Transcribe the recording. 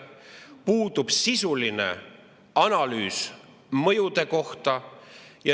Puudub sisuline analüüs mõjude kohta.